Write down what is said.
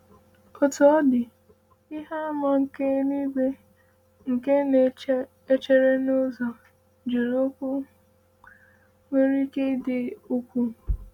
“Otú ọ dị, ihe àmà nke eluigwe nke na-echere n’ụzọ jụrụ okwu nwere ike dị ukwuu.”